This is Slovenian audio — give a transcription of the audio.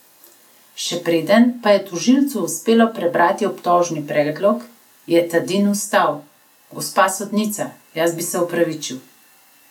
Še preden pa je tožilcu uspelo prebrati obtožni predlog, je Tadin vstal: "Gospa sodnica, jaz bi se opravičil.